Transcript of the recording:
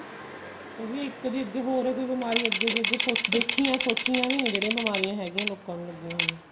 ਵੀ ਇੱਕ ਦੀ ਅੱਗੇ ਹੋਰੇ ਕੋਈ ਬਿਮਾਰੀ ਅੱਗੇ ਦੀ ਅੱਗੇ ਦੇਖੀਆਂ ਸੋਚਿਆਂ ਵੀ ਨਹੀਂ ਜਿਹੜੀ ਬਿਮਾਰੀਆਂ ਹੈਗੀਆਂ ਲੋਕਾ ਨੂੰ ਲੱਗੀਆਂ ਹੋਇਆ